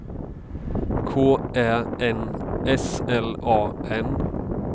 K Ä N S L A N